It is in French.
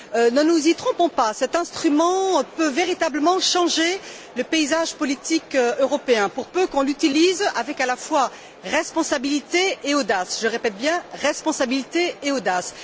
Ne nous y trompons pas, cet instrument peut véritablement changer le paysage politique européen pour peu qu'on l'utilise avec, à la fois, responsabilité et audace.